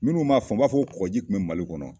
Minnu m'a faamu, u b'a fɔ ko kɔkɔji kun bɛ Mali kɔnɔ.